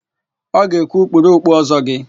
Ọ ga-ekwu, "kpuru okpu Ọ́zọ́ gị"!